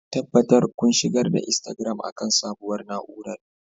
tabbatar kun shigar da Instagram akan sabuwar na'urar